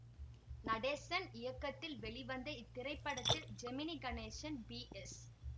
நடேசன் இயக்கத்தில் வெளிவந்த இத்திரைப்படத்தில் ஜெமினி கணேசன் பி எஸ்